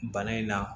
Bana in na